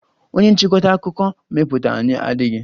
Onye nchịkọta akụkọ mmepụta anyị adịghị.